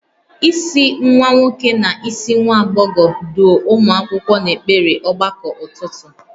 Isi nwa nwoke na isi nwa agbọghọ, duo ụmụ akwụkwọ n'ekpere ọgbakọ ụtụtụ